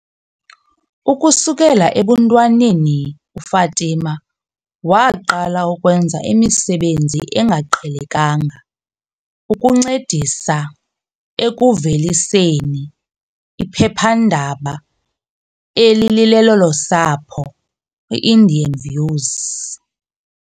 Ukusukela ebuntwaneni uFatima waqala ukwenza imisebenzi engaqhelekanga ukuncedisa ekuveliseni iphephandaba elilelolosapho, i-Indian Views.